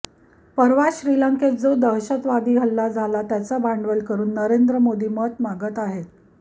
परवा श्रीलंकेत जो दहशतवादी हल्ला झाला त्याचं भांडवल करून नरेंद्र मोदी मतं मागत आहेत